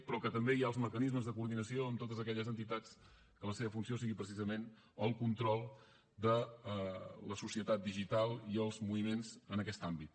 però que també hi ha els mecanismes de coordinació amb totes aquelles entitats que la seva funció sigui precisament el control de la societat digital i els moviments en aquest àmbit